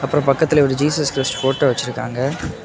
அப்புறம் பக்கத்திலேயே ஒரு ஜீசஸ் கிரிஸ்ட் போட்டோ வச்சிருக்காங்க.